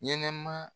Ɲɛnɛma